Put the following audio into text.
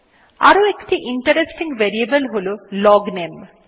আরো একটি interesting variable হল লগনামে